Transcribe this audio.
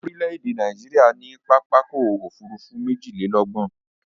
Orílè-èdè Nàìjíríà ní pápá ọkọ̀ Òfurufú méjìlélọ́gbọ̀n